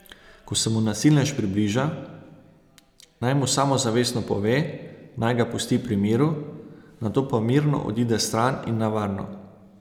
Ko se mu nasilnež približa, naj mu samozavestno pove, naj ga pusti pri miru, nato pa mirno odide stran in na varno.